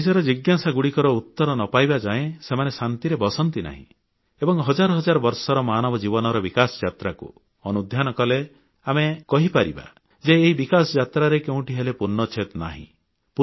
ନିଜର ଜିଜ୍ଞାସାଗୁଡ଼ିକର ଉତ୍ତର ନ ପାଇବା ଯାଏ ସେମାନେ ଶାନ୍ତିରେ ବସନ୍ତି ନାହିଁ ଏବଂ ହଜାର ହଜାର ବର୍ଷର ମାନବ ଜୀବନର ବିକାଶଯାତ୍ରାକୁ ଅନୁଧ୍ୟାନ କଲେ ଆମେ କହିପାରିବା ଯେ ଏହି ବିକାଶ ଯାତ୍ରାରେ କେଉଁଠି ହେଲେ ପୂର୍ଣ୍ଣଚ୍ଛେଦ ନାହିଁ